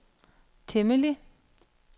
temmelig